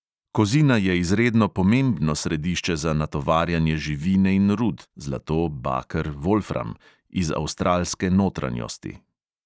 Kozina je izredno pomembno središče za natovarjanje živine in rud (zlato, baker, volfram) iz avstralske notranjosti.